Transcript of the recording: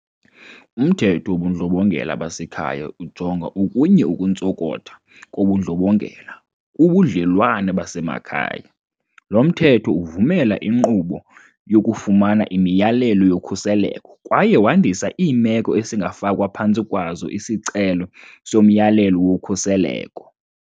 UMthetho wobuNdlobongela baseKhaya ujonga okunye ukuntsokotha kobundlobongela kubudlelwane basemakhaya. Lo Mthetho uvumela inkqubo yokufumana imiyalelo yokhuseleko kwaye wandisa iimeko esingafakwa phantsi kwazo isicelo somyalelo wokhuseleko.